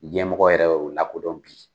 Ɲɛmɔgɔ yɛrɛ y'o la kodɔn bi.